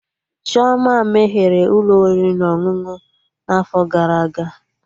Chioma meghere Ụlọ oriri na ọṅụṅụ na afo gara aga